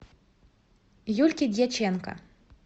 юльки дьяченко